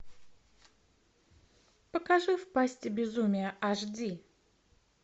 покажи в пасти безумия аш ди